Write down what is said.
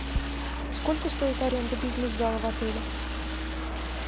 сколько стоит аренда бизнес зала в отеле